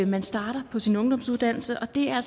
man starter på sin ungdomsuddannelse og det er